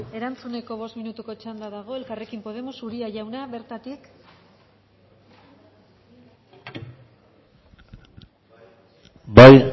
erantzuneko bost minutuko txanda dago elkarrekin podemos uria jauna bertatik bai